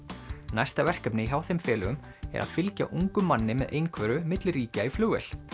næsta verkefni hjá þeim félögum er að fylgja ungum manni með einhverfu milli ríkja í flugvél